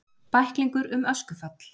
Bæklingur um öskufall